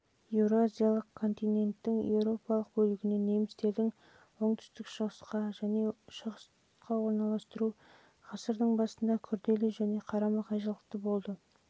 еуразиялық континенттің еуропалық бөлігінен немістерді оңтүстік-шығысқа және шығысқа орналастыру және ғасырдың басында күрделі және қарама-қайшылықты болып